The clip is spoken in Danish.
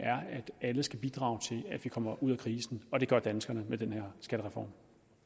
alle skal bidrage til at vi kommer ud af krisen og det gør danskerne med den her skattereform